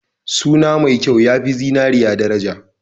Suna mai kyau ya fi zinariya daraja.